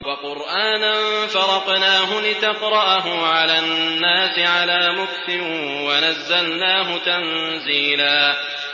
وَقُرْآنًا فَرَقْنَاهُ لِتَقْرَأَهُ عَلَى النَّاسِ عَلَىٰ مُكْثٍ وَنَزَّلْنَاهُ تَنزِيلًا